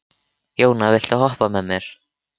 Jóna, viltu hoppa með mér?